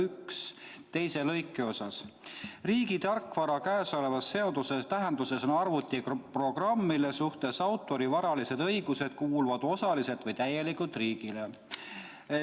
„Riigi tarkvara käesoleva seaduse tähenduses on arvutiprogramm, mille suhtes autori varalised õigused kuuluvad osaliselt või täielikult riigile.